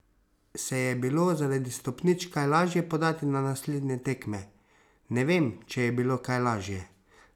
Se je bilo zaradi stopničk kaj lažje podati na naslednje tekme: "Ne vem, če je bilo kaj lažje.